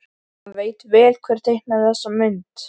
Hann veit vel hver teiknaði þessa mynd.